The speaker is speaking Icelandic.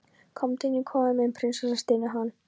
Komdu inn í kofann minn prinsessa, stynur hann.